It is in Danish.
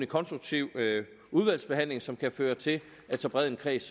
konstruktiv udvalgsbehandling som kan føre til at så bred en kreds